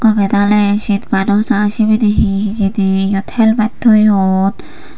eyan oley sinpa naw jaai sibeni he hijeni eyot helmet toyon.